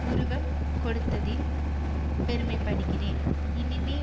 உருவம் கொடுத்ததில் பெருமை படுகிறேன் இனிமே